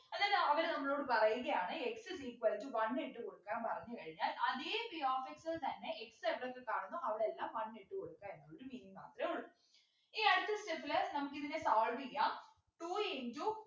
എന്നിട്ട് അവര് നമ്മളോട് പറയുകയാണ് x is equal to one ഇട്ടു കൊടുക്കാൻ പറഞ്ഞു കഴിഞ്ഞാൽ അതെ p of x ൽ തന്നെ x എവിടൊക്കെ കാണുന്നു അവിടെ എല്ലാം one ഇട്ടു കൊടുക്ക എന്നൊരു രീതി മാത്രേ ഉള്ളു ഇനി അടുത്ത step ലെ നമുക്കിതിന solve ചെയ്യാം two into